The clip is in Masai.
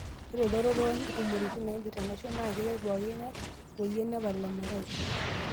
Ore elototo oo ntumoritin naipirta enaisho naa keret pooking'ae oyie nepal emerai.